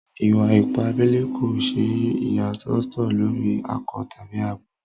Ìwà-ìpà àbèlè kò ṣè iyàsòtò lórí akọ̀ tabi àbọ.